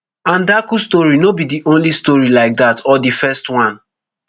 andaku story no be di only story like dat or di first one